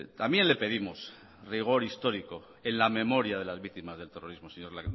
también le pedimos rigor histórico en la memoria de las víctimas del terrorismo señor